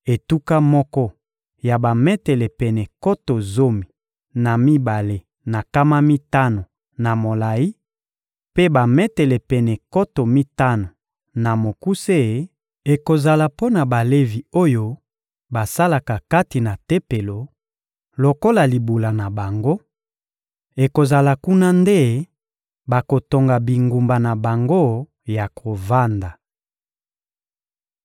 Etuka moko ya bametele pene nkoto zomi na mibale na nkama mitano na molayi mpe bametele pene nkoto mitano na mokuse ekozala mpo na Balevi oyo basalaka kati na Tempelo; lokola libula na bango, ekozala kuna nde bakotonga bingumba na bango ya kovanda.